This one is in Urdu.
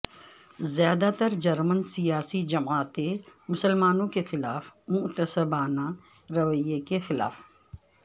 زیادہ ترجرمن سیاسی جماعتیں مسلمانوں کے خلاف معتصبانہ رویے کے خلاف